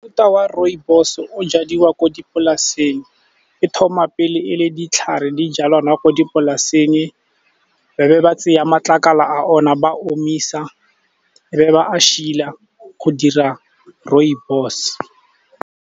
Mofuta wa rooibos o jadiwa ko dipolaseng. E thoma pele e le ditlhare ijalwa ko dipolaseng, ba be ba tseya matlakala a ona, ba omisa, e be ba go dira rooibos.